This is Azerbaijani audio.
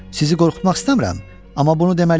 Sizi qorxutmaq istəmirəm, amma bunu deməliyəm.